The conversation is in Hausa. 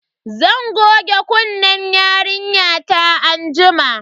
Zan goge kunnen yarinyata anjima.